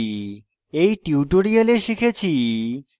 in tutorial শিখেছি